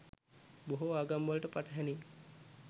බොහෝ ආගම්වලට පටහැනියි.